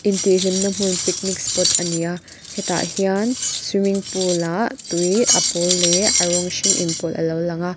intihhlimna hmun picnic spot ani a hetah hian swimming pool ah tui a pawl leh a rawng hring in pawlh alo lang a.